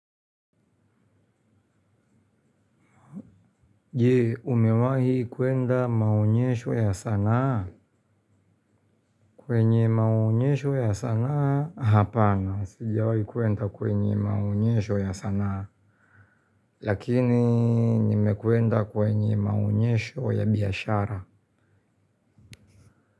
Jee umewahi kuenda maonyesho ya sanaa kwenye maonyesho ya sanaa hapana sijawai kuenda kwenye maonyesho ya sanaa lakini nimekwenda kwenye maonyesho ya biyashara.